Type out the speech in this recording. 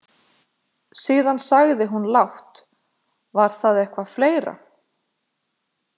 Síðan sagði hún lágt: Var það eitthvað fleira?